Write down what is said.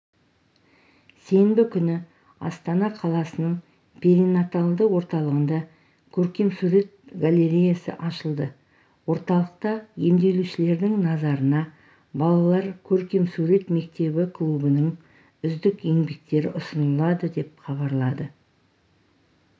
сенбі күні астана қаласының перинаталды орталығында көркемсурет галереясы ашылды орталықта емделушілердің назарына балалар көркемсурет мектебі клубыныңүздік еңбектері ұсынылады деп хабарлады